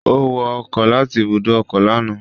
Ó wọ ọkọ̀ láti ibùdó ọkọ̀ lánàá